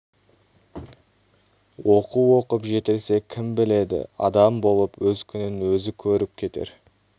оқу оқып жетілсе кім біледі адам болып өз күнін өзі көріп кетер